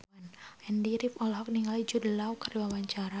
Andy rif olohok ningali Jude Law keur diwawancara